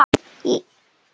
Einn dagur!